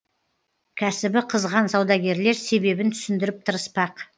кәсібі қызған саудагерлер себебін түсіндіріп тырыспақ